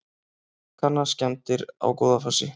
Kanna skemmdir á Goðafossi